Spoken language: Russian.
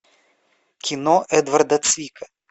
кино эдварда цвика